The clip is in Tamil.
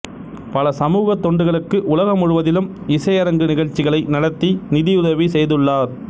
பல சமூக தொண்டுகளுக்கு உலக முழுவதிலும் இசையரங்கு நிகழ்ச்சிகளை நடத்தி நிதியுதவி செய்துள்ளார்